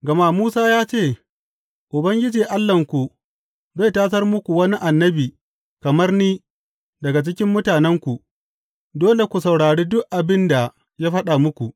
Gama Musa ya ce, Ubangiji Allahnku zai tasar muku wani annabi kamar ni daga cikin mutanenku; dole ku saurari duk abin da ya faɗa muku.